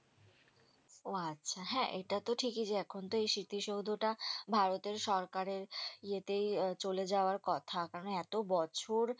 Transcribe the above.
ওহ আচ্ছা হ্যাঁ এটাতো ঠিকই যে এখন তো এই স্মৃতিসৌধটা ভারতের সরকারের এইয়েতেই চলে যাবার কথা কারন এতবছর